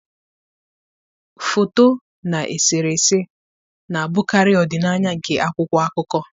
Foto na eserese na-abụkarị ọdịnaya nke akwụkwọ akụkọ.